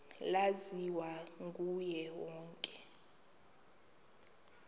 laziwa nguye wonke